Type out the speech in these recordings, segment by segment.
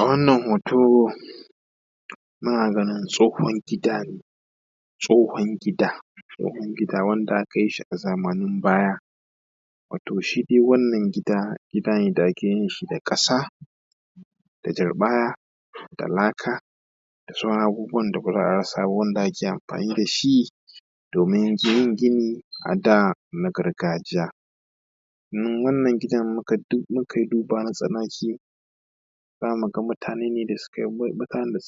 a wannan hoto muna ganin tsohon gida ne tsohon gida tsohon gida wanda aka yi shi a zamanin baya wato shi dai wannan gida gidane da ake yin shi da ƙasa da turɓaya da laka da sauran abubuwan da ba za a rasa ba wanda ake amfani da shi domin yin gini a da na gargajiya domin wannan gidan mu kai duba na tsanaki za mu ga mutane ne da su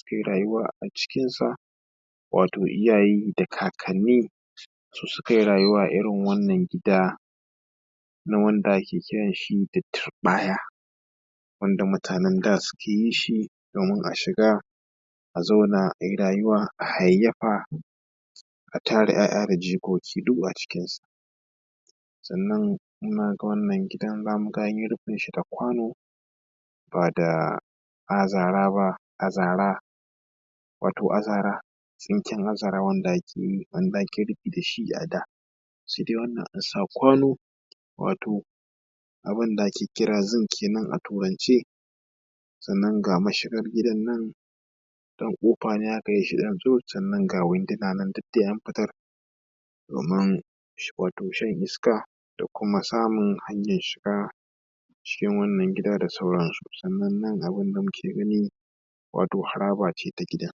kai rayuwa a cikinsa wato iyaye da kakanni su su kai rayuwa a irin wannan gida na wanda ake kiran shi da turɓaya wanda mutanen da suke yin shi domin a shiga a zauna a yi rayuwa a hayayyafa a tara ‘ya'ya da jikoki duk a cikinsa sannan na ga wannan gidan za mu ga an yi rufin shi da kwano ba da azara ba wato azara tsinken azara wanda ake rufi da shi a da shi dai wannan an sa kwano wato abunda ake kira zinc kenan a turance sannan ga mashigar gidan nan ɗan ƙofa ne haka ɗan tsurut sannan ga winduna nan duk da an fitar domin shan iska da kuma samun hanyan shiga cikin wannan gida da sauransu sannan nan abunda muke gani wato haraba ce ta gida